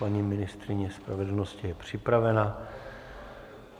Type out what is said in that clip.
Paní ministryně spravedlnosti je připravena.